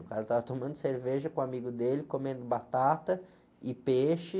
O cara tava tomando cerveja com um amigo dele, comendo batata e peixe.